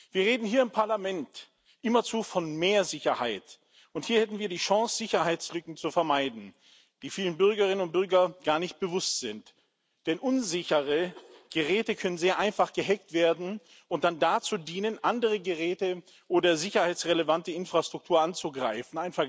Wir reden hier im Parlament immerzu von mehr Sicherheit, und hier hätten wir die Chance, Sicherheitslücken zu vermeiden, die vielen Bürgerinnen und Bürgern gar nicht bewusst sind, denn unsichere Geräte können sehr einfach gehackt werden und dann dazu dienen, andere Geräte oder sicherheitsrelevante Infrastruktur anzugreifen.